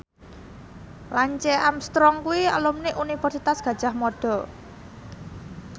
Lance Armstrong kuwi alumni Universitas Gadjah Mada